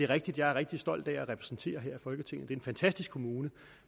rigtigt er rigtig stolt af at repræsentere her i folketinget en fantastisk kommune